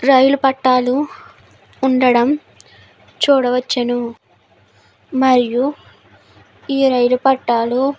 రైలు పట్టాలు ఉండడం చూడవచ్చును మరియు ఈ రైలు పట్టాలు--